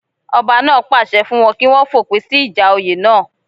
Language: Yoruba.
Ọba náà pàṣẹ fún wọn kí wọ́n fòpin sí ìjà oyè náà